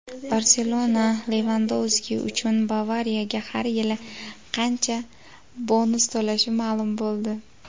"Barselona" Levandovski uchun "Bavariya"ga har yili qancha bonus to‘lashi ma’lum bo‘ldi;.